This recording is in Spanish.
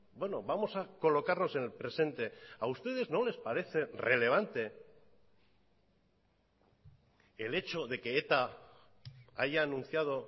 bueno vamos a colocarnos en el presente a ustedes no les parece relevante el hecho de que eta haya anunciado